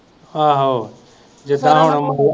ਆਹੋ ਜਿਦਾਂ ਹੁਣ